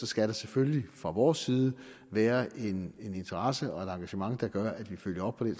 skal selvfølgelig fra vores side være en interesse og et engagement der gør at vi følger op på den